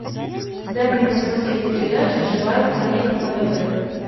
дай мне посмотреть передачу живая планета на тв